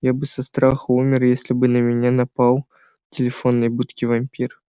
я бы со страха умер если бы на меня напал в телефонной будке вампир